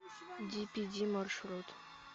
дипиди маршрут